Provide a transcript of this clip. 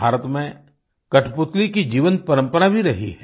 भारत में कठपुतली की जीवन्त परम्परा भी रही है